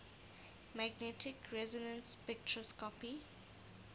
magnetic resonance spectroscopy